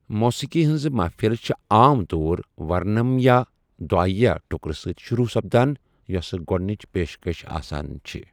موسیقی ہنزٕ محفِلہٕ چھے٘ عام طور ورنم یا دُعایہ ٹٗكرٕ سۭتۍ شروع سپدان یوسہٕ گوڈنِچ پیشكش آسان چھے٘۔